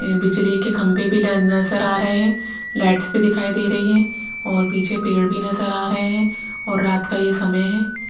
बिजली के खंबे भी नजर आ रहे हैं लाइट्स भी दिखाई दे रही हैं और पीछे पेड़ भी नजर आ रहे हैं और रात का यह समय है।